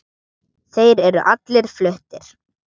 Þeir eru allir fluttir